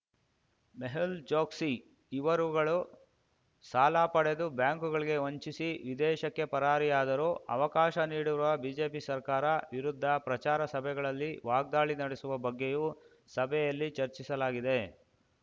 ಮೆಹುಲ್ ಚೊಕ್ಸಿ ಇವರುಗಳು ಸಾಲ ಪಡೆದು ಬ್ಯಾಂಕುಗಳಿಗೆ ವಂಚಿಸಿ ವಿದೇಶಕ್ಕೆ ಪರಾರಿಯಾದರೂ ಅವಕಾಶ ನೀಡಿರುವ ಬಿಜೆಪಿ ಸರ್ಕಾರ ವಿರುದ್ಧ ಪ್ರಚಾರ ಸಭೆಗಳಲ್ಲಿ ವಾಗ್ದಾಳಿ ನಡೆಸುವ ಬಗ್ಗೆಯೂ ಸಭೆಯಲ್ಲಿ ಚರ್ಚಿಸಲಾಗಿದೆ